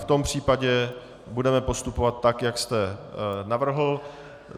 V tom případě budeme postupovat tak, jak jste navrhl.